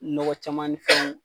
Nɔgɔ caman ni fɛnw